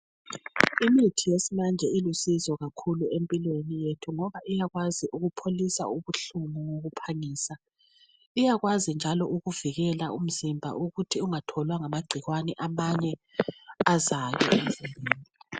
Imithi yesimanje ilusizo kakhulu empilweni yethu ngoba iyakwazi ukupholisa ubuhlungu ngokuphangisa. Iyakwazi njalo ukuvikela umzimba ukuthi ungatholwa ngamagcikwane amanye aza